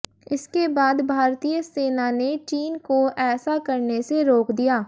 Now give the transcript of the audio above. इसके बाद भारतीय सेना ने चीन को ऐसा करने से रोक दिया